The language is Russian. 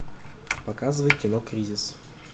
показывай кино кризис